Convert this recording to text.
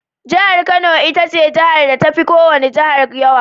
Jihar Kano itace jihar da tafi ko wani Jihar yawa.